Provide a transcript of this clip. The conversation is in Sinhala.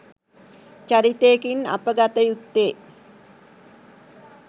චරිතයකින් අප ගත යුත්තේ